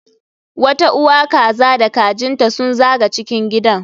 Wata uwa kaza da kajin ta sun zaga cikin gidan